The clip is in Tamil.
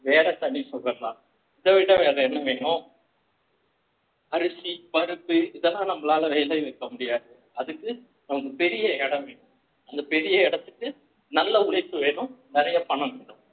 வேற தனி சுகம்தான் இத விட வேற என்ன வேணும் அரிசி பருப்பு இதெல்லாம் நம்மளால விளைவிக்க முடியாது அதுக்கு நமக்கு பெரிய இடம் வேணும் அந்த பெரிய இடத்துக்கு நல்ல உழைப்பு வேணும் நிறைய பணம் வேணும்